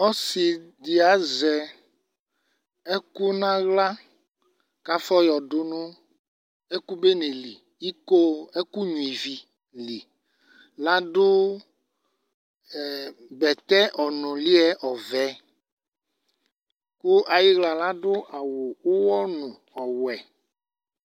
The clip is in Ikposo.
Ɔsɩ ɖɩ azɛ ɛƙʋ nʋ aɣla, ƙʋ afɔ ƴɔ ɖʋ Nʋ ɛƙʋ nƴua ivi liL' aɖʋ bɛtɛ ɔnʋlɩ ƴɛ ɔvɛ; ƙʋ aƴɩɣla ɖʋ awʋ ʋwɔ nʋ ɔwɛ